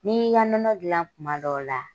N'i y'i ka nɔnɔ gilan kuma dɔw la.